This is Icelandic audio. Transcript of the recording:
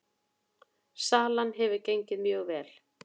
Salan hefur gengið mjög vel